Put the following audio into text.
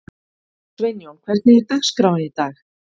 Sveinjón, hvernig er dagskráin í dag?